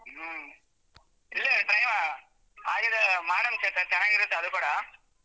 ಹ್ಮ್‌ ಇಲ್ಲೇ ಹಾಗಿದ್ರೆ ಮಾಡೋಣ ಬಿಡಿ ಚೆನ್ನಾಗಿರುತ್ತೆ ಅದು ಕೂಡ.